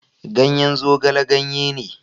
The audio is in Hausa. Ganyen zogale ganye ne.